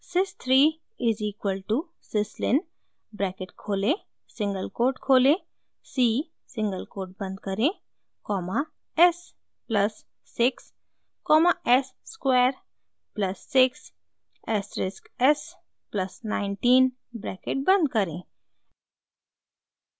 sys 3 is equal to syslin bracket खोलें single quote खोलें c single quote बंद करें comma s plus 6 comma s square plus 6 asterisk s plus 19 bracket बंद करें